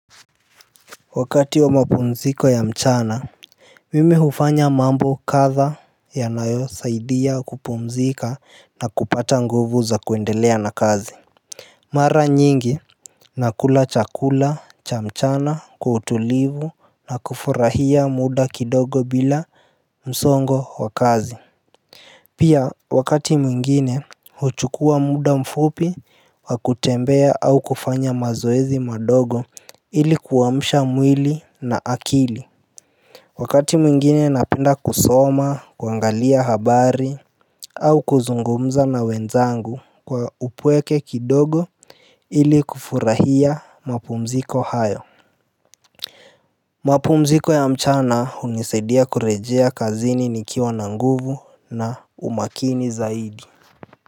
Wakati wa mapumziko ya mchana mimi hufanya mambo kadha yanayosaidia kupumzika na kupata nguvu za kuendelea na kazi. Mara nyingi nakula chakula cha mchana kwa utulivu na kufurahia muda kidogo bila msongo wa kazi. Pia wakati mwingine huchukua muda mfupi wa kutembea au kufanya mazoezi madogo ili kuamsha mwili na akili. Wakati mwingine napenda kusoma, kuangalia habari au kuzungumza na wenzangu kwa upweke kidogo ili kufurahia mapumziko hayo. Mapumziko ya mchana hunisadia kurejea kazini nikiwa na nguvu na umakini zaidi.